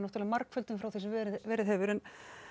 margföldun frá því sem verið verið hefur